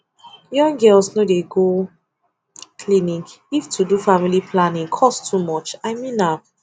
young girls no dey go clinic if to do family planning cost too much i mean am